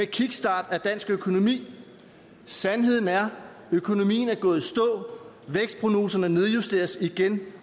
kickstart af dansk økonomi sandheden er at økonomien er gået i stå vækstprognoserne nedjusteres igen